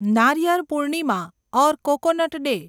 Nariyal Purnima or coconut day